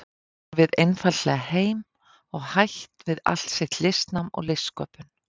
horfið einfaldlega heim og hætt við allt sitt listnám og listsköpun.